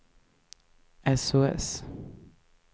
sos